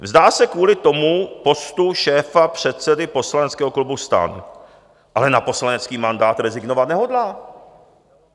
Vzdá se kvůli tomu postu šéfa předsedy poslaneckého klubu STAN, ale na poslanecký mandát rezignovat nehodlá.